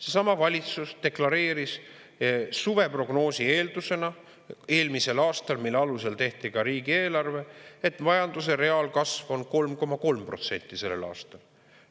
Seesama valitsus deklareeris suveprognoosi eeldusena eelmisel aastal, mille alusel tehti ka riigieelarve, et majanduse reaalkasv on 3,3% sellel aastal.